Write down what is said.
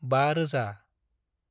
5000